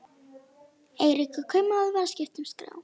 Eiríkur kaupmaður var að skipta um skrá.